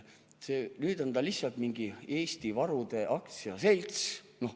Nüüd on ta lihtsalt mingi Eesti varude aktsiaselts.